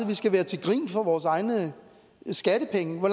vi skal være til grin for vores egne skattepenge hvor